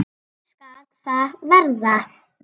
Þannig skal það verða.